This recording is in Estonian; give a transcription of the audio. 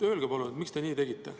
Öelge palun, miks te nii tegite.